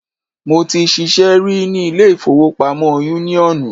Mo ti ṣiṣẹ́ rí ní ilé ìfowópamọ́ yúníọ̀nù